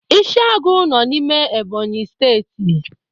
Ịshiagụ nọ n'ime Ẹ́bọ̀nyị̀ Steeti.